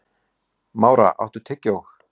Mára, áttu tyggjó?